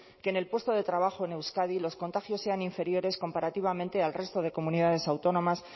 que en el puesto de trabajo en euskadi los contagios sean inferiores comparativamente al resto de comunidades autónomas